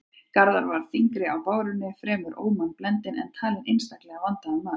Garðar var þyngri á bárunni, fremur ómannblendinn, en talinn einstaklega vandaður maður.